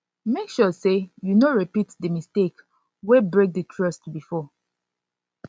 mek sure sey you no repeat di mistake wey break mistake wey break di trust bifor